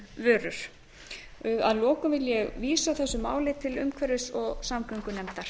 þolinmóðar vörur að lokum vil ég vísa þessu máli til umhverfis og samgöngunefndar